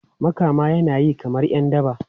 Makama yana yi kamar ’yan daba.